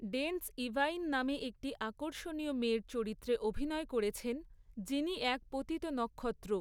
Dense Yvaine নামে একটি আকর্ষণীয় মেয়ের চরিত্রে অভিনয় করেছেন, যিনি এক পতিত নক্ষত্র।